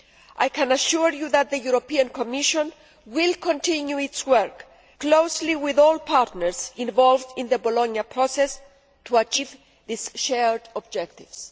I can assure you that the European Commission will continue to work closely with all partners involved in the Bologna process to achieve its shared objectives.